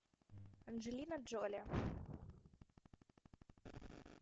анджелина джоли